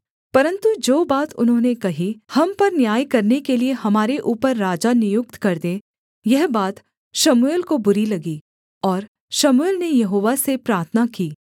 परन्तु जो बात उन्होंने कही हम पर न्याय करने के लिये हमारे ऊपर राजा नियुक्त कर दे यह बात शमूएल को बुरी लगी और शमूएल ने यहोवा से प्रार्थना की